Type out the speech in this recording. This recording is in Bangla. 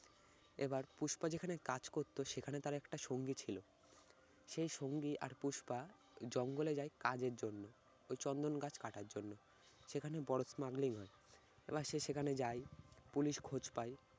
এবার পুষ্পা যেখানে কাজ করতো সেখানে তার একটা সঙ্গী ছিল। সেই সঙ্গী আর পুষ্পা জঙ্গলে যায় কাজের জন্য। ঐ চন্দন গাছ কাটার জন্য। সেখানে বড় smuggling হয়। এবার সে সেখানে যায় পুলিশ খোঁজ পায়